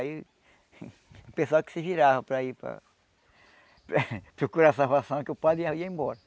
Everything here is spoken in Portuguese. Aí o pessoal que se virava para ir para procurar salvação, que o padre ia ia embora.